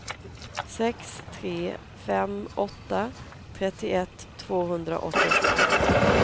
sex tre fem åtta trettioett tvåhundraåttioåtta